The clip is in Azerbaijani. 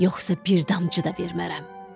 Yoxsa bir damcı da vermərəm.